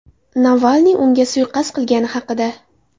Navalniy unga suiqasd qilingani haqida.